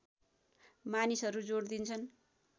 मानिसहरू जोड दिन्छन्